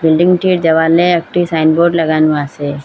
বিল্ডিংটির দেওয়ালে একটি সাইনবোর্ড লাগানো আসে।